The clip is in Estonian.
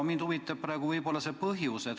Mind huvitabki selle põhjus.